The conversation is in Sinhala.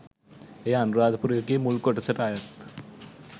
එය අනුරාධපුර යුගයේ මුල් කොටසට අයත්